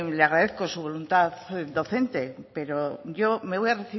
le agradezco su voluntad docente pero yo me voy a